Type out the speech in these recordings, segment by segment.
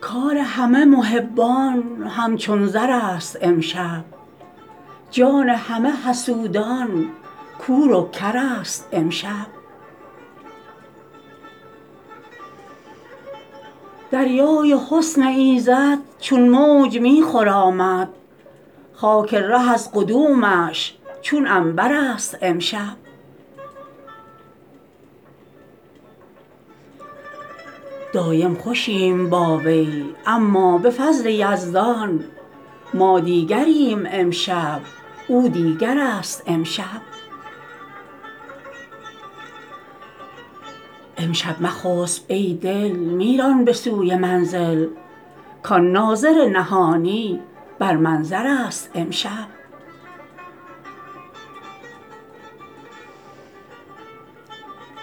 کار همه محبان همچون زرست امشب جان همه حسودان کور و کرست امشب دریای حسن ایزد چون موج می خرامد خاک ره از قدومش چون عنبر ست امشب دایم خوشیم با وی اما به فضل یزدان ما دیگریم امشب او دیگرست امشب امشب مخسب ای دل می ران به سوی منزل کان ناظر نهانی بر منظر ست امشب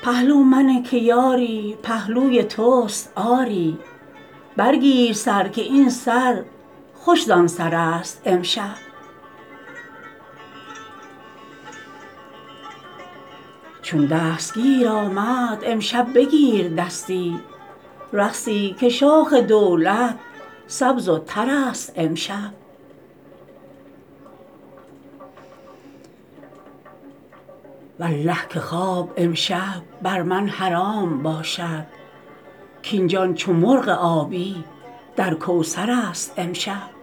پهلو منه که یاری پهلوی تست آری برگیر سر که این سر خوش زان سرست امشب چون دستگیر آمد امشب بگیر دستی رقصی که شاخ دولت سبز و ترست امشب والله که خواب امشب بر من حرام باشد کاین جان چو مرغ آبی در کوثر ست امشب